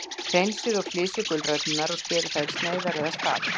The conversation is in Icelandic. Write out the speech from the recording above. Hreinsið og flysjið gulræturnar og skerið þær í sneiðar eða stafi.